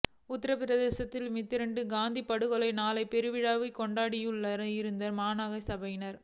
உத்தரப்பிரதேசத்தின் மீரட்டில் காந்தி படுகொலை நாளை பெருவிழாவாக கொண்டாடியுள்ளனர் இந்து மகாசபையினர்